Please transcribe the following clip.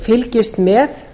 fylgist með